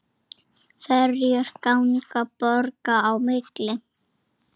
Ferjur ganga borga á milli.